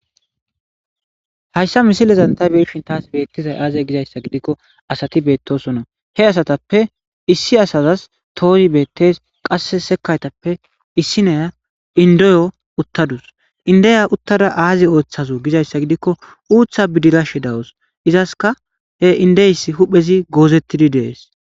Hayssa misilezan ta be'ishin taas beettizay aaze gizayssa gidikko asati beettosona. He asatappe issi asazas toozi beettees. Qasse sekaytappe issineya indoyo uttadus. Indeya uttada aazi ooththaze gizayssa gidikko uutha bidirashe dawus. Izaska he indeys huhphezi goozettidi dees.